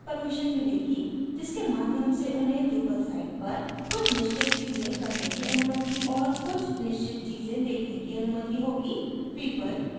उन्हें कुछ निश्चित permissions मिलेगी जिसके माध्यम से उन्हें drupal site पर कुछ निश्चित चीजें करने की अनुमति और कुछ निश्चित चीजें देखने की अनुमति होगी